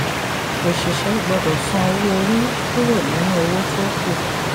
òṣìṣẹ́ gbọ́dọ̀ san owó orí kúrò nínú owó tó kù.